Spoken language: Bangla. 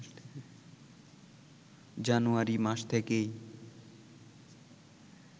জানুয়ারি মাস থেকেই